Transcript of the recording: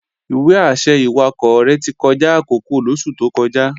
Ìwé-àṣẹ ìwakọ̀ rẹ̀ ti kọjá àkókò lóṣù tó kọjá